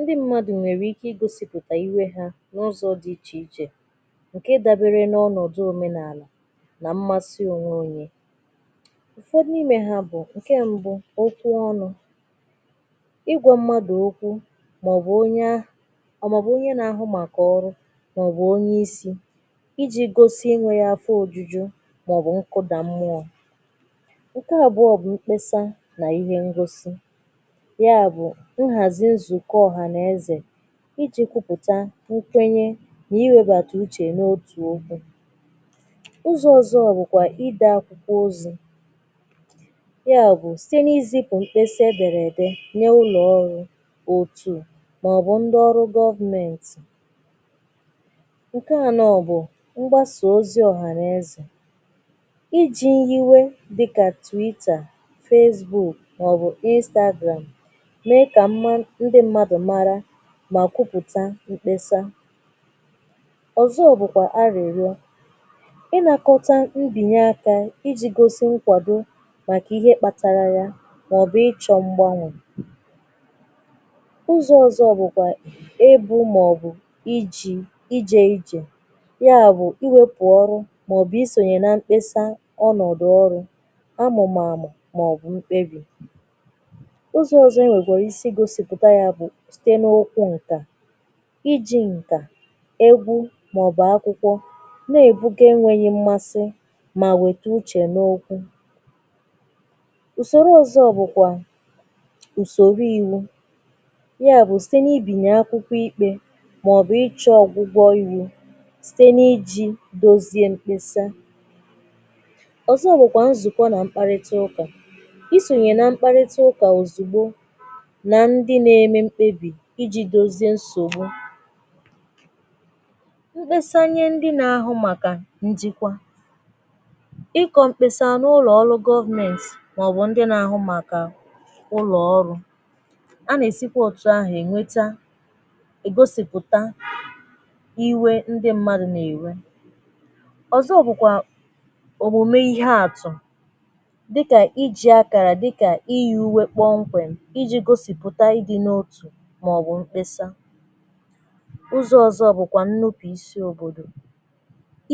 ndị mmadụ̀ nwèrè ike igosìpụ̀tà iwe hā n’ụzọ di ichè ichè ǹke dabere n’ọnọ̀dụ òmenàlà nà mmasị ònwe ònye ụfọdụ n’ime ha bụ̀ ǹke mbu okwu ọnụ ịgwā mmadụ̀ okwu màọbụ̀ onye or màọbụ̀ onye na-ahụ màkà ọrụ màọbụ onye isī ijī gosi ịnụ̄rụ afọ òjuju màọbụ̀ nkụdà mmụọ ǹke àbụọ bụ̀ mkpesa nà ihe ngosi ya bụ̀ ịghàzị nzùkọ ọ̀hànaezè ijī kwụpụ̀ta nkwenye nà-iwēbàtà uchè n’otù okwu ụzọ ọ̀zọ ya bụkwà ịbā ozī ya bụ site na-izīpù mkpesa edèrè ède n’ụlọ̀ ọrụ òtù màọbụ ndị ọrụ government nkè a now bụ̀ mgbāsa ozi ọhànàezè ijī iwe dịkà twitter facebook màọbụ̀ instagram mee kà m mara ndị mmadụ̀ mara mà kwụpụ̀tà mkpesa ọ̀zọ bụ̀kwa arị̀rịọ ịnọkọta mbìnye akā ijī gosi nkwàdo màkà ihe kpatara ya màọbụ̀ ịchọ mgbanwè ụzọ̄ ọ̀zọ bụ̀kwà ebū màọbụ̀ ijī ijē ijè ya bụ̀ iwēpù ọrụ màọbụ̀ isònyè na mkpesa ọnọ̀dụ ọrụ ọmụ̀màmụ̀ màọbụ̀ mkpebì ụzọ̄ ọ̀zọ e newkwara isi gosìpụ̀ta ya bụ̀ site n’okwu ǹkà ijī ǹkà egwu màọbụ̀ akwụkwọ na-èbuga e nwēghi mmasị mà wète uchè n’okwu ùsòrò ọ̀zọ̀ bụ̀kwà ùsòro ìwu ya bụ̀ site na-ibìnye akwụkwọ ikpē màọbụ ịchọ̄ ọ̀gwụgwọ iwū site n’ijī bezie mkpesa nzụ̀kọ na mmkparịta ụkà i sònyè na mkparịta ụkà òzìgbo nà ndị na-eme mkpebì ijī dozi nsògbu mkpesa nye ndị na-ahụ màkà njikwa ịkọ̄ mkpesa n’ụlọ̀ ọrụ government màọbụ̀ ndị nà-ahụ màkà ụlọ̀ ọrụo a nà-èsikwa òtù ahụ̀ ènweta ègosipùta iwē ndị mmadụ̀ nà-èwe ọ̀zọ bụ̀kwà òmùme ihe àtụ̀ dịkà ijī akàrà dịkà iyī ùwe kpọmkwem ijī gosìpụta idī n’otù màọbụ̀ mkpesa ụzọ̄ ọ̀zọ ọ bụ̀kwwà nnupùisi òbòdò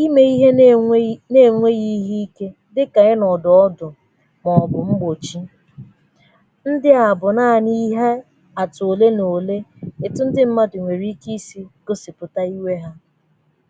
imē ihe na-enwē na-ènweghi ihe ike imē ihe na-enwē na-ènweghi ihe ike màọbụ mgbòchi